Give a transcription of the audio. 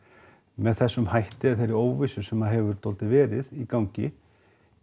með þessum hætti þá er þeirri óvissu sem hefur verið í gangi